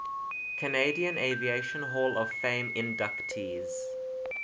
canadian aviation hall of fame inductees